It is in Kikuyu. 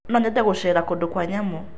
No nyende gũcerera kũndũ kwa nyamũ.